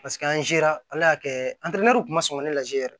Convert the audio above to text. Paseke an sera ala y'a kɛ kun ma sɔn ka ne lajɛ yɛrɛ